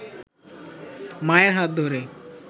মায়ের হাত ধরে